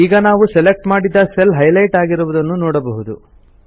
ಈಗ ನಾವು ಸೆಲೆಕ್ಟ್ ಮಾಡಿದ ಸೆಲ್ ಹೈಲೈಟ್ ಆಗಿರುವುದನ್ನು ನೋಡಬಹುದು